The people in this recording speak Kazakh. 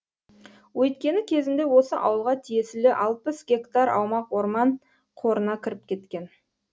өйткені кезінде осы ауылға тиесілі алпыс гектар аумақ орман қорына кіріп кеткен